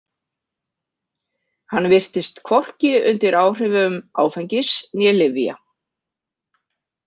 Hann virtist hvorki undir áhrifum áfengis né lyfja.